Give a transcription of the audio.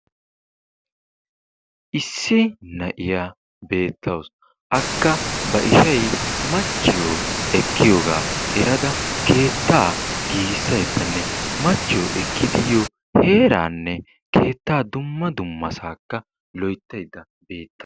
Issi na'iya beetawus. akka ba ishsay machchiyo ekkidi yiyooga erada, heeranne keettaa dumma dummasa loyttaydda beettetwus.